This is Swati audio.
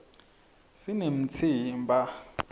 sinemtsimba